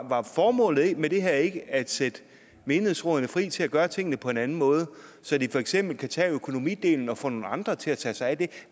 var formålet med det her ikke at sætte menighedsrådene fri til at gøre tingene på en anden måde så de for eksempel kan tage økonomidelen og få nogle andre til at tage sig af det